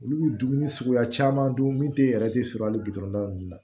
Olu bɛ dumuni suguya caman dun min tɛ yɛrɛ tɛ sɔrɔ hali bila ninnu na